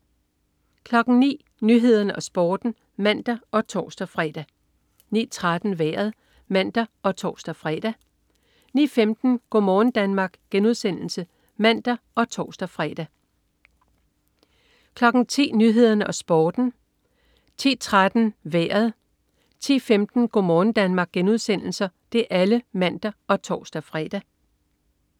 09.00 Nyhederne og Sporten (man og tors-fre) 09.13 Vejret (man og tors-fre) 09.15 Go' morgen Danmark* (man og tors-fre) 10.00 Nyhederne og Sporten (man og tors-fre) 10.13 Vejret (man og tors-fre) 10.15 Go' morgen Danmark* (man og tors-fre)